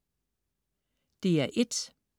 DR1: